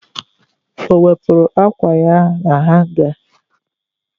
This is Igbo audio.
Ọ wepụrụ ákwà ya na hanga?